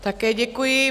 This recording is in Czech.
Také děkuji.